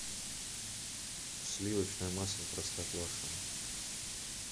сливочное масло простоквашино